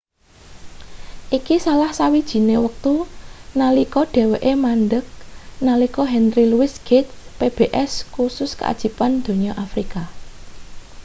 iki salah sawijine wektu nalika dheweke mandheg nalika henry louis gates' pbs kusus keajaiban donya afrika